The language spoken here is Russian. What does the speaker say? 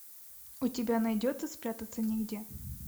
у тебя найдется спрятаться негде